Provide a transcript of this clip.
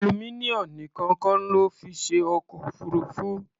Aluminium nìkan kọ́ lọ́ fi ṣe ọkọ̀-òfurufú.